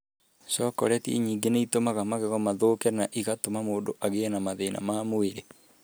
Cokoleti nyingĩ nĩ itũmaga magego mathũke na ĩgatũma mũndũ agĩe na mathĩna ma mwĩrĩ.